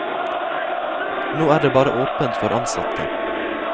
Nå er det bare åpent for ansatte.